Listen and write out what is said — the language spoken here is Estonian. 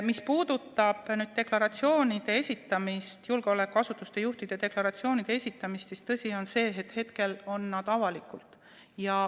Mis puudutab julgeolekuasutuste juhtide deklaratsioonide esitamist, siis tõsi on see, et hetkel on need avalikud.